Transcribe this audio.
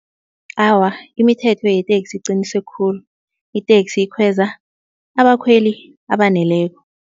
Awa, imithetho yeteksi iqinise khulu. Iteksi ikhweza abakhweli abaneleko.